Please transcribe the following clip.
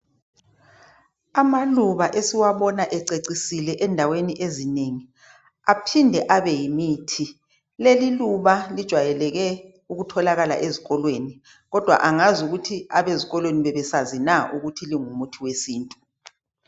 Amaluba esiwabona ececisile endaweni ezinengi aphinde abe yimithi. Leli iluba lijwayeleke ukutholakala ezikolweni kodwa angazi ukuthi abezikolweni bebesazi na ukuthi lingumuthi wesintu.